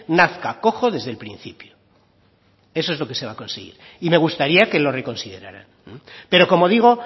nazca cojo desde el principio eso es lo que se va a conseguir y me gustaría que lo reconsideraran pero como digo